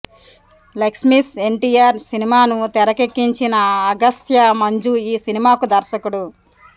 లక్ష్మీస్ ఎన్టీఆర్ సినిమాను తెరకెక్కించిన అగస్త్య మంజు ఈ సినిమాకు దర్శకుడు